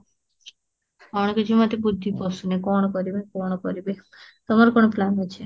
କଣ କିଛି ମତେ ବୁଢ଼ୀ ପଶୁନି କଣ କରିବି କଣ କରିବି, ତମର କଣ plan ଅଛି?